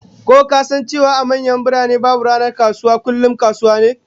Ka san cewa a manyan birane, babu ranar kasuwa dabam kullum kasuwa?